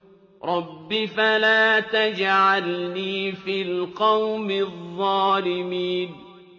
رَبِّ فَلَا تَجْعَلْنِي فِي الْقَوْمِ الظَّالِمِينَ